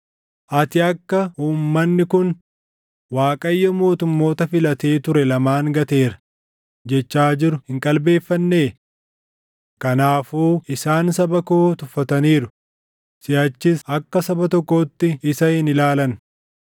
“Ati akka uummanni kun, ‘ Waaqayyo mootummoota filatee ture lamaan gateera’ jechaa jiru hin qalbeeffannee? Kanaafuu isaan saba koo tuffataniiru; siʼachis akka saba tokkootti isa hin ilaalan.